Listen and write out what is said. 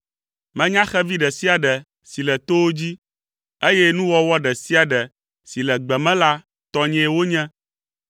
Menya xevi ɖe sia ɖe si le towo dzi, eye nuwɔwɔ ɖe sia ɖe si le gbe me la tɔnyee wonye.